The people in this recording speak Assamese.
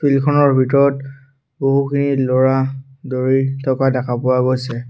ফিল্ড খনৰ ভিতৰত বহুখিনি ল'ৰা দৌৰি থকা দেখা পোৱা গৈছে।